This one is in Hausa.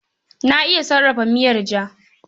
Na iya sarrafa miyar ja.